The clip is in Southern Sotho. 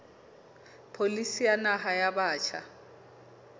pholisi ya naha ya batjha